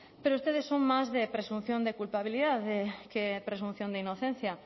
pero ustedes son más de presunción de culpabilidad que presunción de inocencia